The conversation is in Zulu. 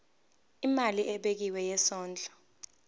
imali ebekiwe yesondlo